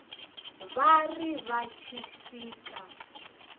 vha ri vha tshi swika